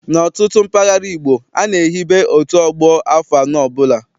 N'ọtụtụ mpaghara ala Igbo, a na-ehibe otu ọgbọ afọ anọ ọbụla.